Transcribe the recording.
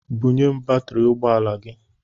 Bunye m batiri ụgbọala gị!